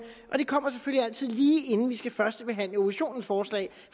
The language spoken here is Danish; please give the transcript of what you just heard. og det kommer selvfølgelig altid lige inden vi skal førstebehandle oppositionens forslag